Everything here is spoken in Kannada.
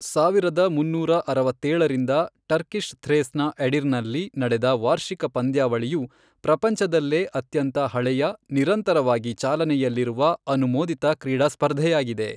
ಸಾವಿರದ ಮುನ್ನೂರ ಅರವತ್ತೇಳರಿಂದ ಟರ್ಕಿಶ್ ಥ್ರೇಸ್ನ ಎಡಿರ್ನ್ನಲ್ಲಿ ನಡೆದ ವಾರ್ಷಿಕ ಪಂದ್ಯಾವಳಿಯು ಪ್ರಪಂಚದಲ್ಲೇ ಅತ್ಯಂತ ಹಳೆಯ, ನಿರಂತರವಾಗಿ ಚಾಲನೆಯಲ್ಲಿರುವ, ಅನುಮೋದಿತ ಕ್ರೀಡಾ ಸ್ಪರ್ಧೆಯಾಗಿದೆ.